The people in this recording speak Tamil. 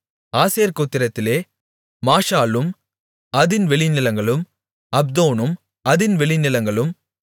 ஆசேர் கோத்திரத்திலே மாஷாலும் அதின் வெளிநிலங்களும் அப்தோனும் அதின் வெளிநிலங்களும்